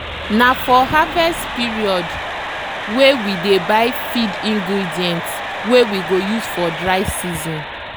na for harvest periodwey we dey buy feed ingredients wey we go use for dry season.